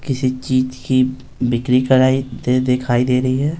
किसी चीज़ की बिक्री कराई ते दिखाई दे रही है।